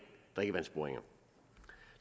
drikkevandsboringer